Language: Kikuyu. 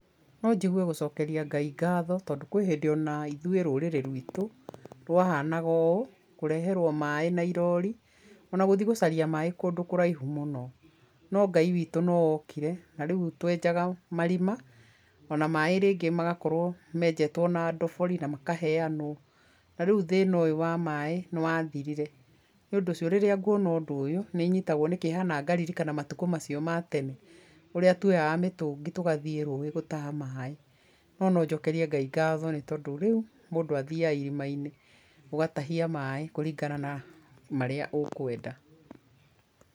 Nojigũe gũcokeria Ngai ngatho tondũ kwĩhĩndĩ onaithũĩ rũrĩrĩ rwitũ rwahana ũũ, kũreherwa maĩ na irori ona gũthii gũcaria maĩ kũndũ kũraihu mũno no Ngai witũ nookire na rĩũ twejaga marima ona maĩ rĩngĩ magakorwo mejetwe na ndobori na makaneanwo na rĩũ thĩna ũyũ wa maĩ nĩwathirire nĩũndũ ũcio, rĩrĩa nguona ũndũ ũyũ nĩnyitagwo nĩ kĩeha na ngaririkana matuko macio ma tene ũrĩa twoyaga mĩtúngi tũgathĩi rũĩ gũtaha maĩ nonojokerie Ngai ngatho nĩtondũ rĩu, mũndũ athiaga irimainĩ ũgatagia maĩ kũrigana na marĩa ũrenda.